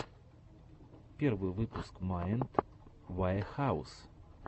первый выпуск майнд ваэхаус